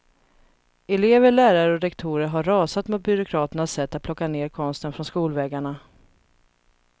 Elever, lärare och rektorer har rasat mot byråkraternas sätt att plocka ned konsten från skolväggarna.